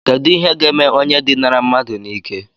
Kedu ihe ga-eme onye dinara mmadu n'ike?